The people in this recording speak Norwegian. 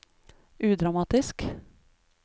udramatisk